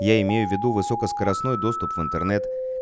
я имею в виду высокоскоростной доступ в интернет